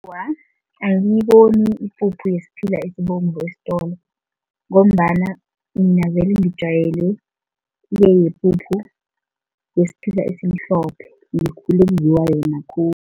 Awa, angiyiboni ipuphu yesiphila esibovu esitolo ngombana mina vele ngijwayele le yepuphu yesiphila esimhlophe, ngikhule kudliwa yona khulu.